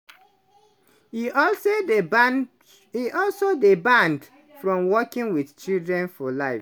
e also dey ban e also dey banned from working wit children for life.